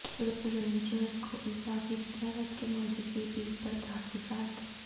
rangers کو اضافی اختیارات کے مجوزہ بل پر تحفظات